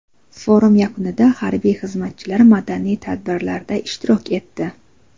Forum yakunida harbiy xizmatchilar madaniy tadbirlarda ishtirok etdi.